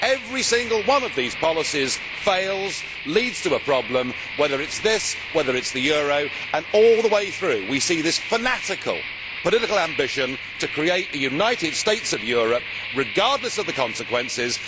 Every single one of the policies fails and leads to a problem whether it is this or whether it is the euro and all the way through, we see a fanatical political ambition to create a United States of Europe, regardless of the consequences.